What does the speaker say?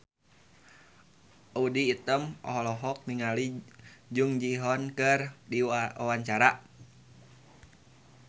Audy Item olohok ningali Jung Ji Hoon keur diwawancara